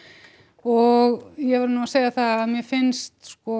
og ég verð nú að segja það að mér finnst sko